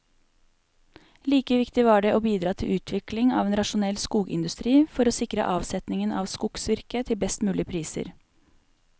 Like viktig var det å bidra til utvikling av en rasjonell skogindustri for å sikre avsetningen av skogsvirket til best mulige priser.